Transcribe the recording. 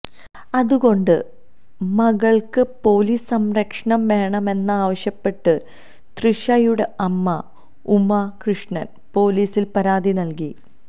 അതുകൊണ്ട് മകള്ക്ക് പോലീസ് സംരക്ഷണം വേണമെന്നാവശ്യപ്പെട്ട് തൃഷയുടെ അമ്മ ഉമ കൃഷ്ണന് പോലീസില് പരാതി നല്കി